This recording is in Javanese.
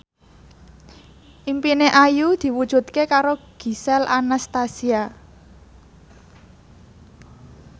impine Ayu diwujudke karo Gisel Anastasia